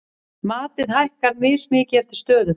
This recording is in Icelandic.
Matið hækkar mismikið eftir stöðum.